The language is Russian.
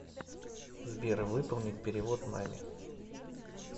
сбер выполнить перевод маме